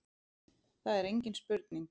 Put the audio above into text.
Það er engin spurning